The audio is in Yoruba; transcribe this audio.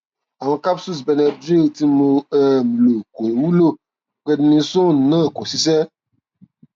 awọn capsules benadryl tí mo um lò kò wúlò prednisone náà kò ṣiṣẹ